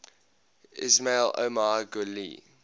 ismail omar guelleh